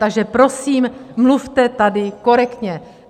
Takže prosím, mluvte tady korektně!